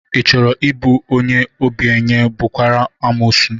Ị chọrọ ị bụ obenye, bụrụkwa amuosu?